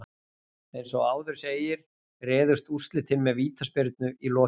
Eins og áður segir réðust úrslitin með vítaspyrnu í lokin.